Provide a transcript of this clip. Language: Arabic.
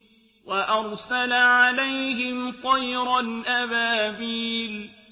وَأَرْسَلَ عَلَيْهِمْ طَيْرًا أَبَابِيلَ